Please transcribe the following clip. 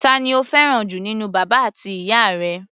Ta ni o fẹ́ràn jù nínú bàbá àti ìyá rẹ?